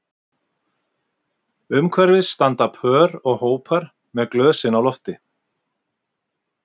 Umhverfis standa pör og hópar með glösin á lofti